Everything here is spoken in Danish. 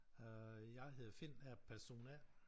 Øh jeg hedder Finn og er person A